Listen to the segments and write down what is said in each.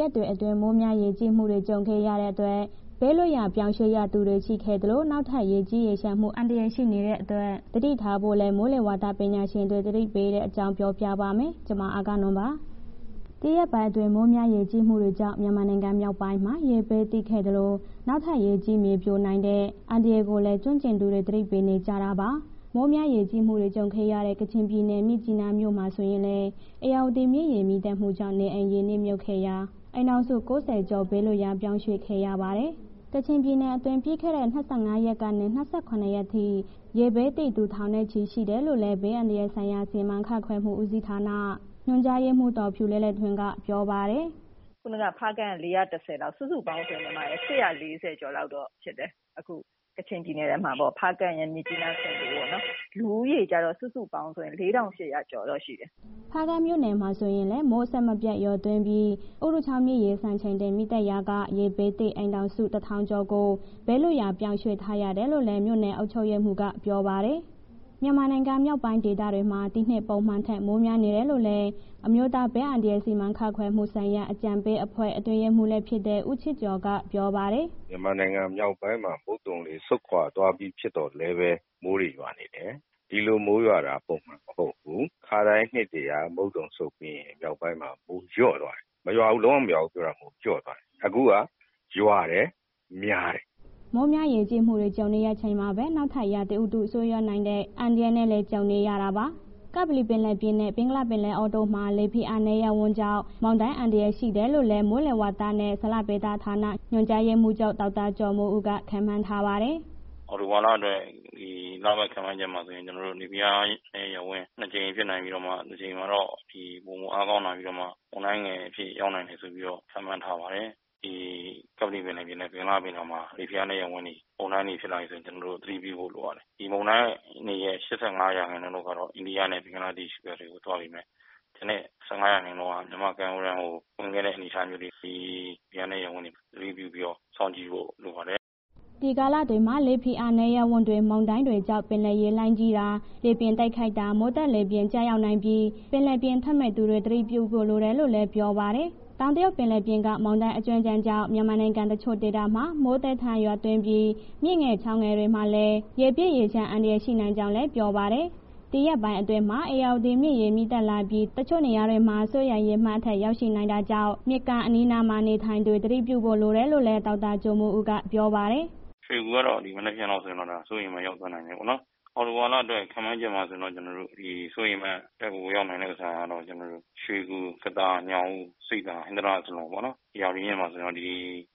ရက်တွေအတွင်း မိုးများရေကြီးမှုတွေ ကြုံရတဲ့အတွက် ဘေးလွတ်ရာ ပြောင်းရွှေ့ရသူတွေ ရှိခဲ့သလို၊ နောက်ထပ် ရေကြီးရေလျှံမှု အန္တရာယ် ရှိနေတဲ့အတွက် သတိထားဖို့လည်း မိုးလေဝသပညာရှင်တွေ သတိပေးထားတဲ့အကြောင်းကို ဗွီအိုအေမြန်မာပိုင်းသတင်းထောက် မအဂ္ဂနွန်က ပြောပြပါမယ်။ ဒီရက်ပိုင်းတွင်း မိုးများရေကြီးမှုတွေကြောင့် မြန်မာနိုင်ငံမြောက်ပိုင်းမှာ ရေဘေးသင့်ခဲ့သလို နောက်ထပ် ရေကြီး၊ မြေပြိုနိုင်တဲ့ အန္တရာယ်ကိုလည်း ကျွမ်းကျင်သူတွေ သတိပေးနေကြတာပါ။ မိုးများရေကြီးမှုတွေ ကြုံခဲ့ရတဲ့ ကချင်ပြည်နယ် မြစ်ကြီးနားမြို့မှာဆိုရင်လည်း ဧရာဝတီမြစ်ရေ မြင့်တက်မှုကြောင့် နေအိမ်တွေ ရေနစ်မြှုပ်ခဲ့ရာက အိမ်ထောင်စု ၉၀ ကျော် ဘေးလွတ်ရာ ပြောင်းရွှေ့ပေးခဲ့ရပါတယ်။ ကချင်ပြည်နယ်အတွင်း ပြီးခဲ့တဲ့ ၂၅ ရက်နေ ၂၇ ရက်ထိ ရေဘေးသင့်သူ ထောင်နဲ့ချီရှိတယ်လို့လည်း ဘေးအန္တရာယ်ဆိုင်ရာ စီမံခန့်ခွဲမှုဦးစီဌာန ညွှန်ကြားရေးမှူး ဒေါ်ဖြူလဲ့လဲ့ထွန်းက ပြောပါတယ်။ “ခုဏက ဖားကန့်က ၄၁၀လောက် စုစုပေါင်း ၈၄၀ ကျော်လောက်တော့ ဖြစ်တယ်၊ အခု ကချင်ပြည်နယ်ထဲမှာပေါ့ ဖားကန့်ရယ် မြစ်ကြီးနား၊ ဆင်ဘို၊ လူဦးရေကျတော့ စုစုပေါင်းဆိုရင် ၄,၈၀၀ လောက်ရှိတယ်။” ဖားကန့်မြို့နယ်မှာ ဆိုရင်လည်း မိုးအဆက်အပြတ်ရွာသွန်းပြီး ဥရုချောင်းမြစ်ရေ စံချိန်တင်မြင့်တက်ရာက ရေေဘေးသင့် အိမ်ထောင်စု ၁,၀၀၀ ကျော်ကို ဘေးလွတ်ရာ ပြောင်းရွှေ့ပေးထားရတယ်လို့လည်း မြို့နယ်အုပ်ချုပ်ရေးမှူးက ပြောပါတယ်။ မြန်မာနိုင်ငံ မြောက်ပိုင်းဒေသတွေမှာ ဒီနှစ် ပုံမှန်ထက် မိုးများနေတယ်လို့လည်း မိုးလေဝသပညာရှင်လည်းဖြစ် အမျိုးသားဘေးအန္တရာယ် စီမံခန့်ခွဲမှုဆိုင်ရာအကြံပေးအဖွဲ့ အတွင်းရေးမှူးလည်း ဖြစ်တဲ့ ဦးချစ်ကျော်က ပြောပါတယ်။ “မြန်မာနိုင်ငံ မြောက်ပိုင်းမှာ မုတ်သုံလေ ဆုတ်ခွာသွားပြီး ဖြစ်သော်လည်းပဲ မိုးတွေ ရွာနေတယ်၊ ဒီလိုမိုးရွာတာ ပုံမှန်မဟုတ်ဘူး၊ အခါတိုင်း နှစ်တွေက မုတ်သုံဆုတ်ပြီးရင် မြောက်ပိုင်းမှာ မိုးလျော့သွားတယ်၊ မရွာဘူး၊ လုံးဝမရွာဘူး ပြောတာမဟုတ်ဘူး၊ လျော့သွားတယ်။ အခုက ရွာတယ်မိုးများတယ်။” မိုးများရေကြီးမှုတွေ ကြုံနေရချိန်မှာပဲ နောက်ထပ်ရာသီဥတု ဆိုးရွားနိုင်တဲ့ အန္တရာယ်နဲ့လည်း ကြုံနေရတာပါ။ ကပ္ပလီပင်လယ်ပြင်နဲ့ ဘင်္ဂလားပင်လယ်အော်တို့မှာ လေဖိအားနည်း ရပ်ဝန်းကြောင့် မုန်တိုင်းအန္တရာယ် ရှိနေတယ်လို့လည်း မိုးလေဝသနဲ့ ဇလဗေဒဌာန ညွှန်ကြားရေးမှူးချုပ် ဒေါက်တာကျော်မိုးဦးက ခန့်မှန်းထားပါတယ်။ “အောက်တိုဘာလအတွက် လပတ်ခန့်မှန်းချက်မှာဆိုရင် ကျနော်တို့ လေဖိအားနည်း ရပ်ဝန် နှစ်ကြိမ်ဖြစ်နိုင်ပြီးတော့ တစ်ကြိမ်မှာတော့ ပိုမိုအားကောင်းလာပြီးတော့မှ မုန်းတိုင်ငယ်အဖြစ်ရောက်နိုင်တယ်ဆိုပြီးတော့ ခန့်မှန်ထားပါတယ်။ ဒီကပ္ပလီပင်လယ်ပြင်နှင့် ဘင်္ဂလားပင်လယ်အော်မှာ လေဖိအားနည်း ရပ်ဝန်း မုန်တိုင်းတွေဖြစ်လာပြီဆိုရင် ကျနော်တို့ သတိပြုဖို့လိုတယ်။ ဒီမုန်တိုင်းအနေရဲ့ ၈၅ ရာခိုင်နှုန်းလောက်ကတော့ အိန္ဒိယနဲ့ ဘင်္ဂလားဒေ့ရှ်ဘက်တို့ သွားပေးမယ့် ကျန်တဲ့ ၁၅ ရာခိုင်နှုန်းက မြန်မာ့ကမ်းရိုးတန်းဝင်ခဲ့တဲ့အနေအထားမျိုးတွေ ဒီ လေဖိအားနည်းရပ်ဝန်း အထူးစောင့်ကြည့်ဖို့လိုပါတယ်။” ဒီကာလတွေမှာ လေဖိအားနည်းရပ်ဝန်းတွေ မုန်တိုင်းတွေကြောင့်ပင်လယ်ရေလှိုင်းကြီးတာ လေပြင်းခတ်တိုက်တာ မိုးသက်လေပြင်း ကျရောက်နိုင်တာပြီး ပင်လယ်ပြင်ထွက်မယ့် သူတွေ သတိပြုဖို့လိုတယ်လို့လည်း ပြောပါတယ်။ တောင်တရုတ် ပင်လယ်ပြင်က မုန်တိုင်းအကြွင်းအကျန်ကြောင့် မြန်မာနိုင်ငံ တချို့ဒေသတွေမှာ မိုးသည်းထန်ရွာသွန်ပြီး မြစ်ငယ်ချောင်းငယ်တွေမှာလည်း ရေပြည့်ရေလျှံမှု အန္တရာယ်ဖြစ်နိုင်ကြောင်း ပြောပါတယ်။ ဒီရက်ပိုင်းအတွင်းမှာ ဧရာဝတီမြစ်ရေ မြင့်တက်လာပြီး တချို့ နေရာတွေမှာ စိုးရိမ်ရေမှတ် အထက်ရောက်ရှိနိုင်တာကြောင့် မြစ်ကမ်း အနီးအနားနေရာသူတွေ သတိဖို့လိုတယ်လို့လည်း ဒေါက်တာကျော်မိုးဦးက ပြောပါတယ်။ “ရွှေဂူကတော့ မနက်ဖြန်လောက်ဆိုရင် ဒါ စိုးရိမ်မှတ်ရောက်သွားနိုင်တယ်ပေါ့နော်၊ အောက်တိုဘာလအတွက် ခန့်မှန်းချက်မှာဆိုရင် စိုးရိမ်ရေအမှတ်အထက်ရောက်နိုင်တဲ့ ဥစ္စာက ရွှေဂူ၊ ကသာ၊ ညောင်ဦး၊ ဆိပ်သာ၊ ဟင်္သာတရပေါ့နော်၊ ဧရာဝတီမြစ်မှာဆိုရင်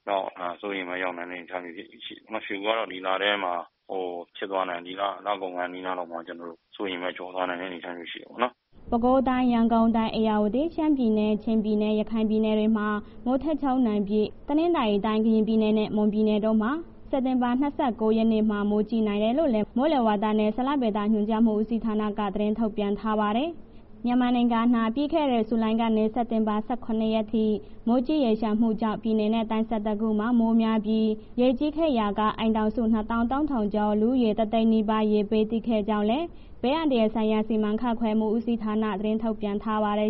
တော့ စိုးရိမ်ရေမှတ်ရောက်နိုင်မယ့် အနေအထားမျိုးတွေ၊ ရွှေဂူကတော့ ဒီလထဲဖြစ်သွားနိုင်တယ်၊ လကုန်ခါနီးနားလောက်မှာ စိုးရိမ်ရေမှတ်ကျော်သွားတဲ့ အနေအထားမျိုးတွေရှိတယ်ပေါ့နော်။” ပဲခူး၊ ရန်ကုန်၊ ဧရာဝတီ၊ ရှမ်းပြည်နယ်၊ ချင်းပြည်နယ်၊ ရခိုင်ပြည်နယ်တွေမှာ မိုးထစ်ချုန်းနိုင်ပြီး တနင်္သာရီတိုင်း၊ ကရင်ပြည်နယ် နဲ့ မွန်ပြည်နယ်တို့က စက်တင်ဘာ ၂၉ ရက်နေ့မှာ မိုးကြီးနိုင်တယ်လို့ မိုးလေဝသနဲ့ ဇလဗေဒညွှန်ကြားးမှုဦးစီးဌာနက သတင်းထုတ်ပြန် ထားပါတယ်။ မြန်မာနိုင်ငံအနှံ့ ပြီးခဲ့တဲ့ ဇူလိုင်ကနေ စက်တင်ဘာ ၁၇ ရက်ထိ မိုးကြီးရေလျှံမှုကြောင့် ပြည်နယ်နဲ့ တိုင်း ၁၁ ခုမှာ မိုးများပြီး ရေကြီးခဲ့ရာက အိမ်ထောင်စု ၂၃,၀၀၀ ကျော်၊ လူဦးရေ ၁၀၀,၀၀၀ နီးပါး ရေဘေးသင့်ခဲ့ကြောင်းလည်း ဘေးအန္တရာယ်ဆိုင်ရာ စီမံခန့်ခွဲမှုဦးစီဌာန သတင်းထုတ်ပြန်ထားပါတယ်